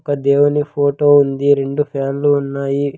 ఒక దేవుని ఫోటో ఉంది రెండు ఫ్యాన్లు ఉన్నాయి.